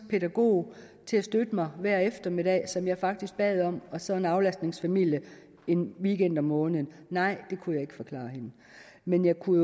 pædagog til at støtte mig hver eftermiddag som jeg faktisk bad om og så en aflastningsfamilie en weekend om måneden nej det kunne jeg ikke forklare hende men jeg kunne